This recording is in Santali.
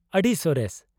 ᱟᱹᱰᱤ ᱥᱚᱨᱮᱥ ᱾